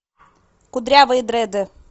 кудрявые дреды